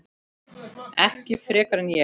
Ekki frekar en ég.